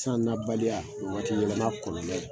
San na baliya o ye waati yɛlɛma kɔlɔlɔ ye